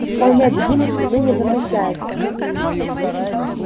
исполнять гимн отныне запрещается